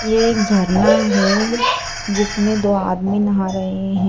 ये एक झरना है जिसमें दो आदमी नहा रहे हैं।